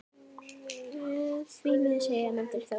Því miður, segir Andri Þór.